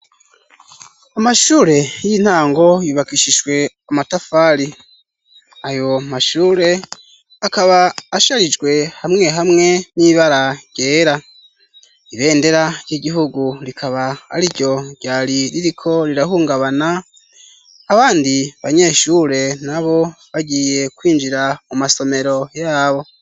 Amashure y'intango yubakishijwe amatafari ayo mashure akaba asharijwe hamwe hamwe n'ibara ryera. Ibendera ry'igihugu rikaba ari ryo ryari ririko rirahungabana abandi banyeshure na bo bagiye kwinjira mu masomero yabo.